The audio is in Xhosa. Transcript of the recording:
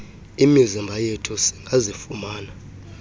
imizimba yethu singazifumana